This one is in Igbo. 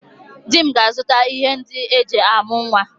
Di m ga-azuta ihe ndị eji amụ nwa